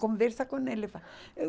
Conversa com ele, vai. Eu